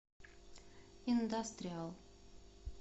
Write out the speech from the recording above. индастриал